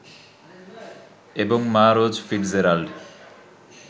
এবং মা Rose Fitzgerald